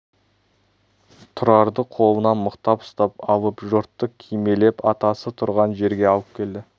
тұрарды қолынан мықтап ұстап алып жұртты кимелеп атасы тұрған жерге алып келді